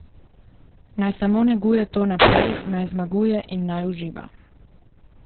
Naj samo neguje to naprej, naj zmaguje in naj uživa.